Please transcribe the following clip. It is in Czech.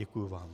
Děkuji vám.